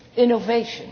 innovation